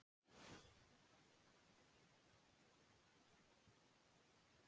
Vísbendingar um jarðhita komu frá gömlum rannsóknarholum sem boraðar höfðu verið fyrir